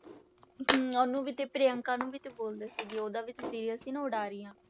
ਹਮ ਉਹਨੂੰ ਵੀ ਤੇ ਪ੍ਰਿਅੰਕਾ ਨੂੰ ਵੀ ਤੇ ਬੋਲਦੇ ਸੀਗੇ, ਉਹਦਾ ਵੀ ਤੇ serail ਸੀ ਨਾ ਉਡਾਰੀਆਂ